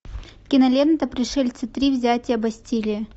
кинолента пришельцы три взятие бастилии